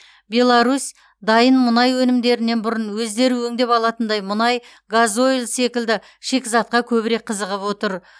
беларусь дайын мұнай өнімдерінен бұрын өздері өңдеп алатындай мұнай газойль секілді шикізатқа көбірек қызығып отыр